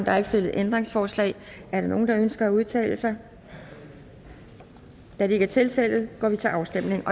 er ikke stillet ændringsforslag er der nogen der ønsker at udtale sig da det ikke er tilfældet går vi til afstemning